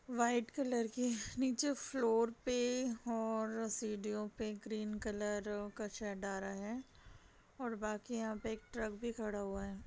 White colour की नीचे floor पे और सीढ़ियों पे ग्रीन कलर का शेड आ रहा है और बाकि यहाँ एक ट्रक भी खड़ा है।